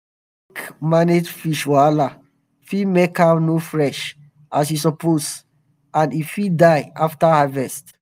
how um you take um manage fish wahala fit make am no fresh as e suppose and e fit die after harvest.